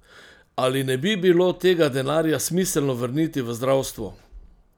Ali ne bi bilo tega denarja smiselno vrniti v zdravstvo?